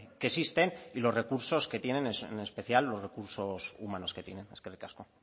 que existen y los recursos que tienen en especial los recursos humanos que tienen eskerrik asko